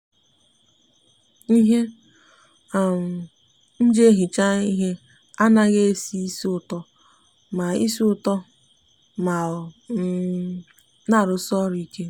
ihe um nji ehicha ihe a naghi esi isi uto ma isi uto ma o um n'arusi oru ike.